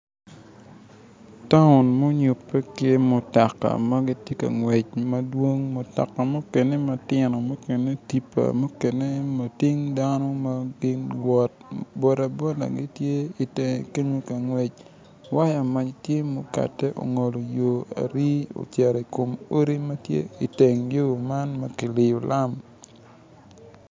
Taun munyupe ki mutoka ma tye ngwec madwong, mutoka mukene matino mukene tippa mukene lating dano ma gin luwot boda boda giti itenge kenyo ka gwec waya mac tye okate ongolo yo ari ocito ikom odi matye iteng yo man ma kiliyo lam